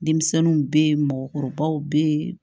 Denmisɛnninw bɛ yen mɔgɔkɔrɔbaw be yen